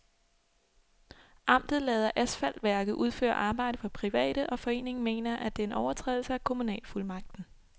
Amtet lader asfaltværket udføre arbejde for private, og foreningen mener, at det er en overtrædelse af kommunalfuldmagten.